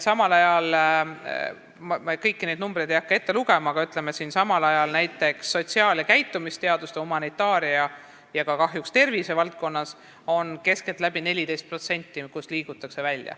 Ma ei hakka kõiki neid numbreid ette lugema, aga ütleme siis, et samal ajal on näiteks sotsiaal- ja käitumisteadustes, humanitaarias ja kahjuks ka tervisevaldkonnas keskeltläbi 14% neid, kes liiguvad välja.